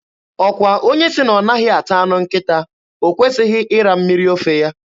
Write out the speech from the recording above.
Ọkwa onye sị na ọ naghị ata anụ nkịta, o kwesịghị ịra mmiri ofe ya?